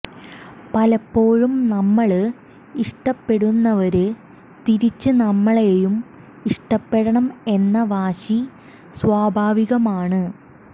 പലപ്പോഴും നമ്മള് ഇഷ്ടപ്പെടുന്നവര് തിരിച്ച് നമ്മളെയും ഇഷ്ടപ്പെടണം എന്ന വാശി സ്വാഭാവികമാണ്